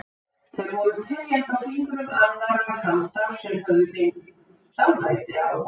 Þeir voru teljandi á fingrum annarrar handar sem höfðu beinlínis dálæti á honum.